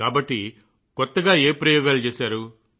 కాబట్టి కొత్తగా ఏ ప్రయోగాలు చేశారు